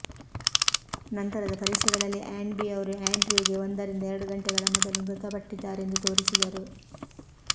ನಂತರದ ಪರೀಕ್ಷೆಗಳಲ್ಲಿ ಆಂಡ್ಬಿ ಅವರು ಆಂಡ್ರ್ಯೂಗೆ ಒಂದರಿಂದ ಎರಡು ಗಂಟೆಗಳ ಮೊದಲು ಮೃತಪಟ್ಟಿದ್ದಾರೆಂದು ತೋರಿಸಿದರು